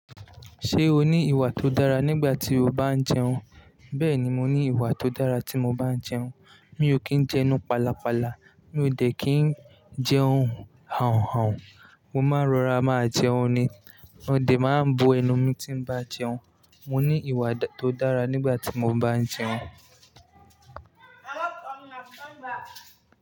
Ṣé o ní ìwà tó dára nígbà tí o bá ń jẹun? Bẹ́ẹ̀ni, mo ní ìwà tó dára tí mo bá ń jẹun. Mi ò kì ń jẹ enu palapala. Mi ò de kí ń jẹ ohùn hanhan. Mo máa ń rọra máa jẹun ni. Mo de máa ń bo ẹnu mi tí n bá jẹun. Mo ní ìwà tó dára nígbà tí mo bá ń jẹun.